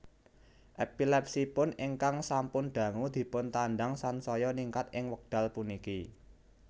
Epilepsiipun ingkang sampun dangu dipuntandhang sansaya ningkat ing wekdal puniki